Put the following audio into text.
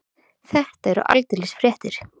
Þetta eru aldeilis fréttir.